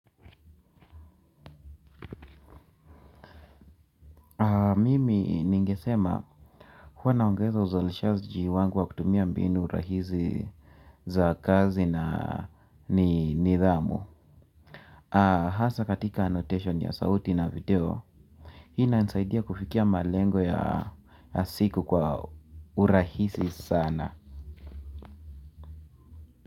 Mimi ningesema huwa naongeza uzalishaji wangu wa kutumia mbini rahisi za kazi na nidhamu. Hasa katika annotation ya sauti na video hii ina nisaidia kufikia malengo ya siku kwa urahisi sana.